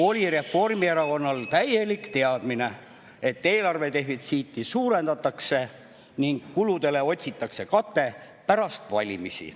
… oli Reformierakonnal täielik teadmine, et eelarve defitsiiti suurendatakse ning kuludele otsitakse kate pärast valimisi.